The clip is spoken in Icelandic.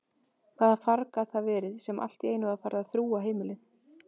Hvaða farg gat það verið sem alltíeinu var farið að þrúga heimilið?